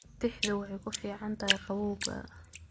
Tixdu waxay ku fiican tahay qabowga.